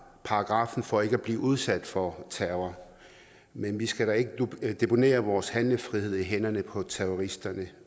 paragraffen for ikke at blive udsat for terror men vi skal da ikke deponere vores handlefrihed i hænderne på terroristerne